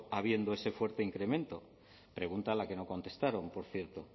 habiendo ese fuerte incremento pregunta a la que no contestaron por cierto